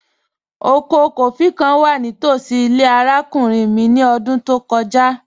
Ọkọ kófí̀ kàn wà ní tosí ilẹ̀ arákùnrin mi ní ọ̀dún tó kọja